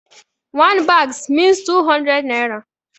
One bags means two hundred naira.